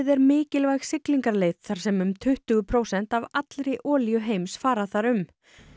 er mikilvæg siglingaleið þar sem um tuttugu prósent af allri olíu heims fara þar um